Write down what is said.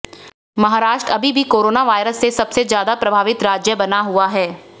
महाराष्ट्र अभी भी कोरोनावायरस से सबसे ज्यादा प्रभावित राज्य बना हुआ है